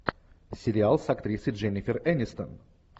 сериал с актрисой дженнифер энистон